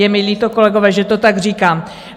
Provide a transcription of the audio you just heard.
Je mi líto, kolegové, že to tak říkám.